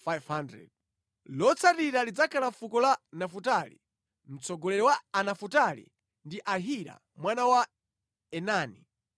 Lotsatira lidzakhala fuko la Nafutali. Mtsogoleri wa Anafutali ndi Ahira mwana wa Enani.